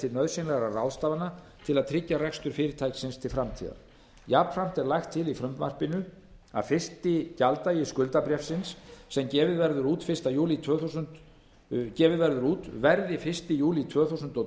til nauðsynlegra ráðstafana til að tryggja rekstur fyrirtækisins til framtíðar jafnframt er lagt til í frumvarpinu að fyrsti gjalddagi skuldabréfsins sem gefið verður út verði fyrsta júlí tvö þúsund og